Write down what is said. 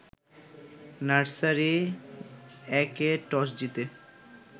nursery ১-এ toss জিতে